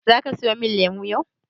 Zaka siya mun lemu yau?